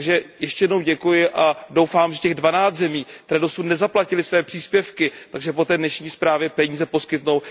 Takže ještě jednou děkuji a doufám, že těch dvanáct zemí, které dosud nezaplatily své příspěvky, po té dnešní zprávě peníze poskytnou.